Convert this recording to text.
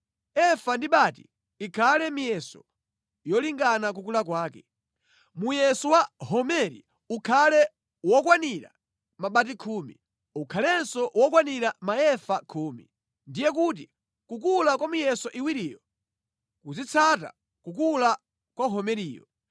Efa ndi bati ikhale miyeso yolingana kukula kwake. Muyeso wa homeri ukhale wokwanira mabati khumi, ukhalenso wokwanira maefa khumi. Ndiye kuti kukula kwa miyeso iwiriyo kuzidzatsata kukula kwa homeriyo.